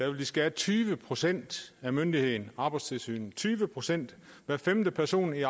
vil de skære tyve procent af myndigheden arbejdstilsynet væk tyve procent hver femte person i